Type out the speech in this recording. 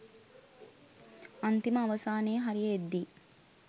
අන්තිම අවසානයේ හරිය එද්දි